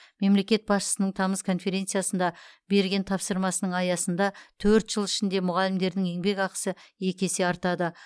мемлекет басшысының тамыз конференциясында берген тапсырмасының аясында төрт жыл ішінде мұғалімдердің еңбекақысы екі есе артады